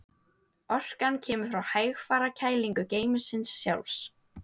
Orkan kemur frá hægfara kælingu geymisins sjálfs.